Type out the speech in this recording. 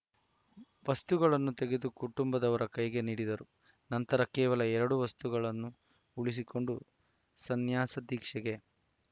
ವಸ್ತುಗಳನ್ನೂ ತೆಗೆದು ಕುಟುಂಬದವರ ಕೈಗೆ ನೀಡಿದರು ನಂತರ ಕೇವಲ ಎರಡು ವಸ್ತುಗಳನ್ನು ಉಳಿಸಿಕೊಂಡು ಸನ್ಯಾಸ ದೀಕ್ಷೆಗೆ